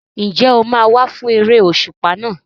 Ǹjẹ́ o máa wá fún eré òṣùpá náà?